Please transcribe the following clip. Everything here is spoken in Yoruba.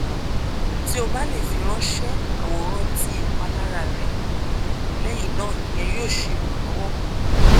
ti o ba le firanṣẹ aworan ti ipalara rẹ lẹhinna iyẹn yoo ṣe iranlọwọ pupọ